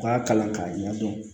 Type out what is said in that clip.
U k'a kalan k'a ɲɛdɔn